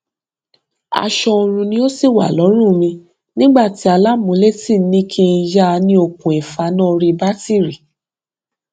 aṣọ oorun ni ó ṣì wà lọrùn mi nígbà tí alámúlétì ní kí n yá ní okùn ifaná oríbátíìrì